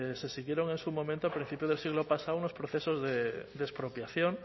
se siguieron en su momento a principios del siglo pasado unos procesos de expropiación